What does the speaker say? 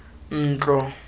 ntlo